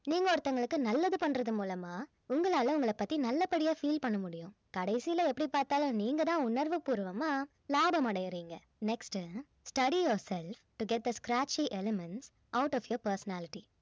நீங்க ஒருத்தவங்களுக்கு நல்லது பண்றது மூலமா உங்களால உங்கள பத்தி நல்லபடியா feel பண்ண முடியும் கடைசியில எப்படி பார்த்தாலும் நீங்க தான் உணர்வு பூர்வமா லாபம் அடையுறீங்க next study yourself to get the scratchy elements out of your personality